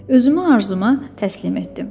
Özümü arzuma təslim etdim.